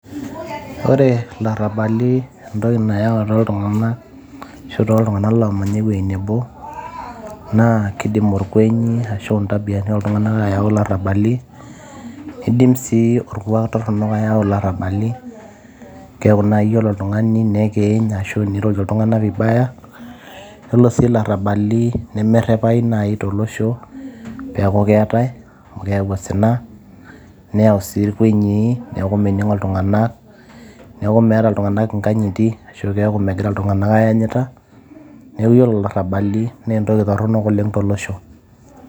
Ore larabali entoki nayau toltunganak, arashu toltunganak omanya uwueji nabo, naa keidim orkwenyi ashu ntambiani oltunganak ayau larabani niidim sii orkuak toronok ayau larabani ,keaku nai ore oltungani nekiiny ashu irorie ltunganak vibaya ,Ore sii larabali nemerepai sii tolosho peaku keatai amu keyau osina neyau sii rkwenyii ,neaku meningi ltunganak, neaku meeta ltunganak nkanyiti ,ashu megira ltunganak aanyita ,neaku iyolo larabali na entoki toronok oleng tolosho.